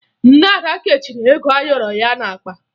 Nne Ada kechiri ego ayọrọ ya n'akpa